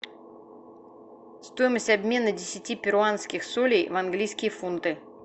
стоимость обмена десяти перуанских солей в английские фунты